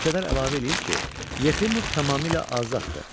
Mülkədar əlavə eləyir ki, Yefimov tamamilə azaddır.